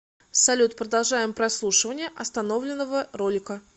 салют продолжаем прослушивание остановленного ролика